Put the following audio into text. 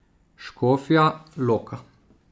Škofja Loka.